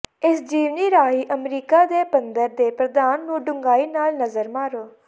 ਇਸ ਜੀਵਨੀ ਰਾਹੀਂ ਅਮਰੀਕਾ ਦੇ ਪੰਦ੍ਹਰ ਦੇ ਪ੍ਰਧਾਨ ਨੂੰ ਡੂੰਘਾਈ ਨਾਲ ਨਜ਼ਰ ਮਾਰੋ